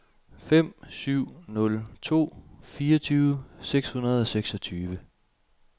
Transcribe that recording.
fem syv nul to fireogtyve seks hundrede og seksogtyve